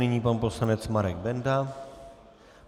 Nyní pan poslanec Marek Benda.